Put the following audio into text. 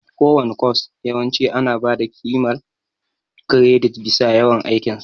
Kowane kwas yawanci ana ba da ƙimar kiredit bisa yawan aikin sa.